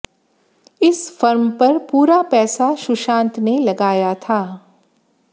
इस फर्म पर पूरा पैसा सुशांत ने लगाया था